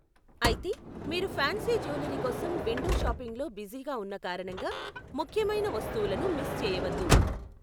అయితే, మీరు fancy jewellery కోసం విండో షాపింగ్లో బిజీగా ఉన్న కారణంగా ముఖ్యమైన వస్తువులను మిస్ చేయవద్దు.